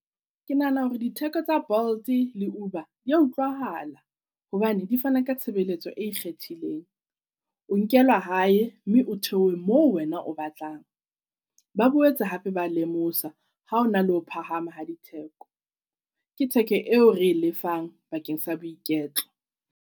Ke nahana hore ditheko tsa Bolt le Uber di ya utlwahala hobane di fana ka tshebeletso e ikgethileng. O nkelwa hae mme o theohe mo wena o batlang. Ba boetse hape ba lemosa ha o na le ho phahama ha ditheko. Ke theko eo re e lefang bakeng sa boiketlo.